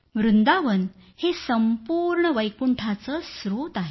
वृंदावन हे संपूर्ण वैकुंठाचं स्त्रोत आहे